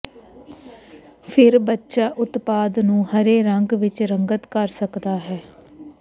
ਫਿਰ ਬੱਚਾ ਉਤਪਾਦ ਨੂੰ ਹਰੇ ਰੰਗ ਵਿਚ ਰੰਗਤ ਕਰ ਸਕਦਾ ਹੈ